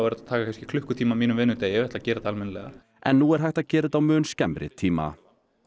að taka kannski klukkutíma af mínum vinnudegi ef ég ætla að gera þetta almennilega en nú er hægt að gera þetta á mun skemmri tíma